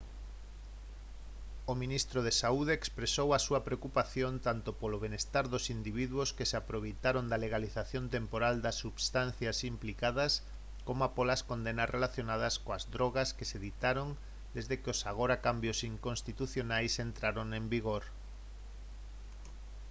o ministro de saúde expresou a súa preocupación tanto polo benestar dos individuos que se aproveitaron da legalización temporal das substancias implicadas coma polas condenas relacionadas coas drogas que se ditaron desde que os agora cambios inconstitucionais entraron en vigor